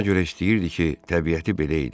Ona görə istəyirdi ki, təbiəti belə idi.